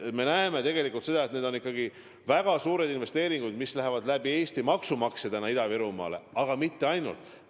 Me näeme tegelikult seda, et need on väga suured investeeringud, mis Eesti maksumaksjate kaudu Ida-Virumaal tehakse, aga mitte ainult nende kaudu.